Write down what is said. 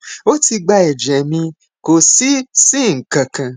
ó ti gba ẹjẹ mi kò sì sí nǹkan kan